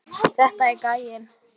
Þetta er gæinn!